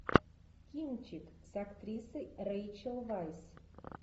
кинчик с актрисой рэйчел вайс